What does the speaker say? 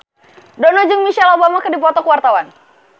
Dono jeung Michelle Obama keur dipoto ku wartawan